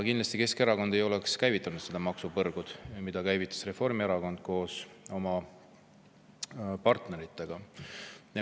Kindlasti ei oleks Keskerakond käivitanud seda maksupõrgut, mille käivitas Reformierakond koos oma partneritega.